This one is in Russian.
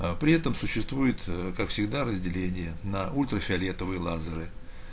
а при этом существует как всегда разделение на ультрафиолетовые лазеры